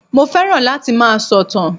Mo fẹ́ràn láti máa sọ̀tàn